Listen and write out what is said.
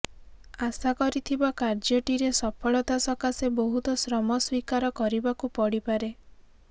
ଆଶା କରିଥିବା କାର୍ଯ୍ୟଟିରେ ସଫଳତା ସକାଶେ ବହୁତ ଶ୍ରମ ସ୍ୱୀକାର କରିବାକୁ ପଡିପାରେ